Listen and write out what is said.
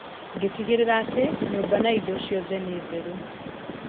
Ngĩtigĩrĩra atĩ, nyũmba na indo ciothe nĩ theru.